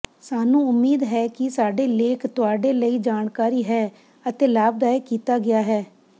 ਸਾਨੂੰ ਉਮੀਦ ਹੈ ਕਿ ਸਾਡੇ ਲੇਖ ਤੁਹਾਡੇ ਲਈ ਜਾਣਕਾਰੀ ਹੈ ਅਤੇ ਲਾਭਦਾਇਕ ਕੀਤਾ ਗਿਆ ਹੈ